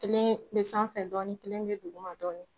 Kelen bɛ sanfɛ dɔɔnin kelen bɛ duguma dɔɔnin